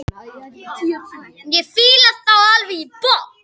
Ég fíla þá alveg í botn.